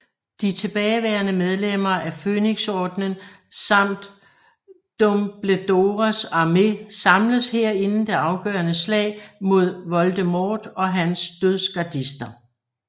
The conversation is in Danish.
De tilbageværende medlemmer af Fønixordenen samt Dumbledores Armé samles her inden det afgørende slag mod Voldemort og hans dødsgardister